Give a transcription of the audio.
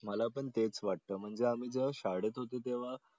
मला पण हेच वाटतं म्हणजे आम्ही जेव्हा शाळेत होतो तेव्हा